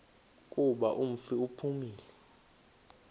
kuba umfi uphumile